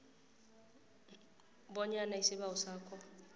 bonyana isibawo sakho